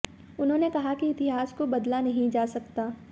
उन्होंने कहा कि इतिहास को बदला नहीं जा सकता